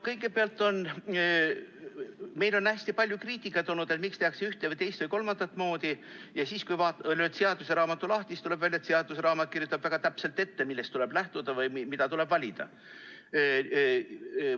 Kõigepealt, on hästi palju kriitikat olnud, et miks tehakse ühte või teist või kolmandat moodi, aga kui lööd seaduseraamatu lahti, siis tuleb välja, et seaduseraamat kirjutab väga täpselt ette, millest tuleb lähtuda või mida tuleb valida.